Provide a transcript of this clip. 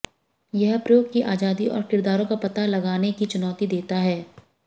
यह प्रयोग की आजादी और किरदारों का पता लगाने की चुनौती देता है